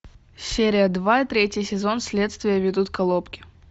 серия два третий сезон следствие ведут колобки